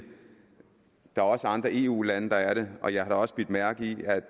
er også andre eu lande der er det og jeg har da også bidt mærke i